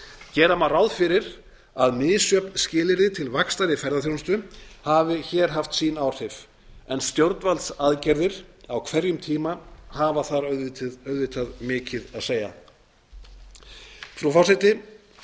gera má ráð fyrir að misjöfn skilyrði til vaxtar ferðaþjónustu hafi hér haft sín áhrif en stjórnvaldsaðgerðir á hverjum tíma hafa þar auðvitað mikið að segja xxx tvö tuttugu og þrjú frú forseti